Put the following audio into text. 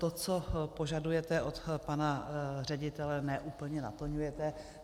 To, co požadujete od pana ředitele, ne úplně naplňujete.